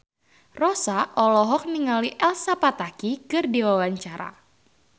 Rossa olohok ningali Elsa Pataky keur diwawancara